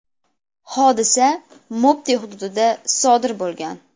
Hodisa Mopti hududida sodir bo‘lgan.